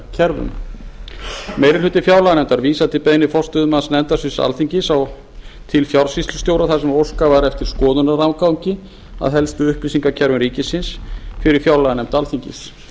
upplýsingakerfum meiri hluti fjárlaganefndar vísar til beiðni forstöðumanns nefndasviðs alþingis til fjársýslustjóra þar sem óskað var eftir skoðunaraðgangi að helstu upplýsingakerfum ríkisins fyrir fjárlaganefnd alþingis